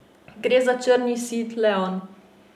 Gre za črni seat leon.